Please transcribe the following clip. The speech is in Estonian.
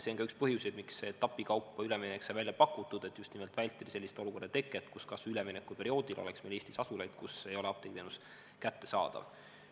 See on ka üks põhjuseid, miks see etapikaupa üleminek sai välja pakutud, et just nimelt vältida sellist olukorda, kus kas või üleminekuperioodil oleks Eestis asulaid, kus ei ole apteegiteenus kättesaadav.